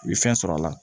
U ye fɛn sɔrɔ a la